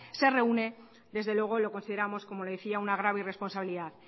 se reúne desde luego lo consideramos como le decía una grave irresponsabilidad